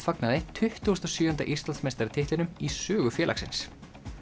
fagnaði tuttugu og sjö Íslandsmeistaratitlinum í sögu félagsins